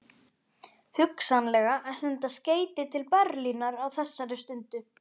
Hugsanlega að senda skeyti til Berlínar á þessari stundu.